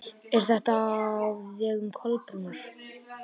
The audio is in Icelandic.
Er þetta á vegum Kolbrúnar?